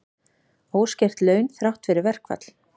Óskert laun þrátt fyrir verkfall